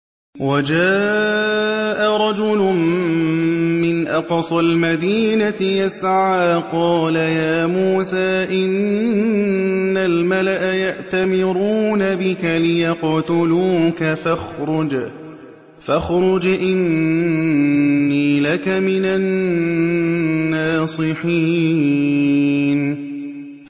وَجَاءَ رَجُلٌ مِّنْ أَقْصَى الْمَدِينَةِ يَسْعَىٰ قَالَ يَا مُوسَىٰ إِنَّ الْمَلَأَ يَأْتَمِرُونَ بِكَ لِيَقْتُلُوكَ فَاخْرُجْ إِنِّي لَكَ مِنَ النَّاصِحِينَ